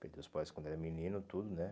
Perdeu os pais quando era menino, tudo, né?